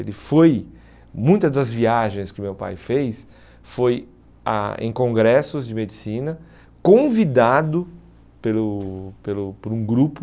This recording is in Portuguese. Ele foi, muitas das viagens que meu pai fez, foi a em congressos de medicina, convidado pelo pelo por um grupo